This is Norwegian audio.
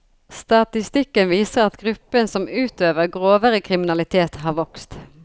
Statistikken viser at gruppen som utøver grovere kriminalitet har vokst.